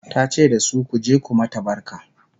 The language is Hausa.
ta ce dasu " ku je ku mata barka!"